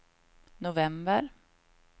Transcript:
november